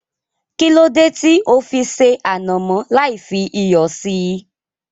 Kílódé tí ó fi ṣé ànàmọ́ lai fi iyọ̀ síí